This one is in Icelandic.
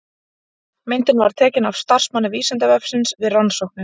Myndin var tekin af starfsmanni Vísindavefsins við rannsóknir.